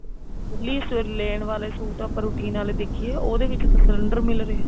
daily ਲੇਨ ਵਾਲੇ suit ਆਪਾਂ routine ਵਾਲੇ ਦੇਖੀਏ ਉਹਦੇ ਵਿੱਚ ਤਾਂ cylinder ਮਿਲ ਰਿਹਾ